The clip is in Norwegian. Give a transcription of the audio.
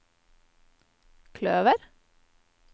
kløver